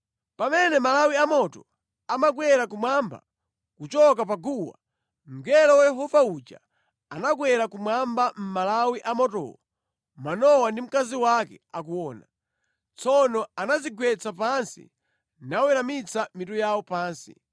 Pamene malawi a moto amakwera kumwamba kuchoka pa guwa, mngelo wa Yehova uja anakwera kumwamba mʼmalawi a motowo Manowa ndi mkazi wake akuona. Tsono anadzigwetsa pansi naweramitsa mitu yawo pansi.